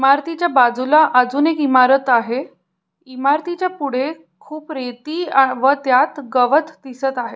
इमारतीच्या बाजूला अजून एक इमारत आहे इमारतीच्या पुढे खुप रेती व त्यात गवत दिसत आहे.